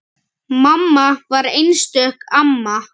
Mamma var einstök amma.